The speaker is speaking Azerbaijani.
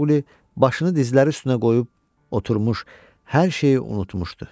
Mauqli başını dizləri üstünə qoyub oturmuş hər şeyi unutmuşdu.